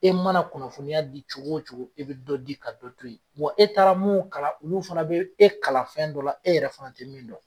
E mana kunnafoniya di cogo o cogo, i bi dɔ di ka dɔ to yen, wa e taara mun kalan olu fana bɛ, e kalan fɛn dɔ la, e yɛrɛ fana ti min don.